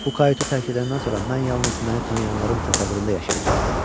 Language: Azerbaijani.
Bu kayutu tərk edəndən sonra mən yalnız məni tanıyanların təsəvvüründə yaşayacam dedi.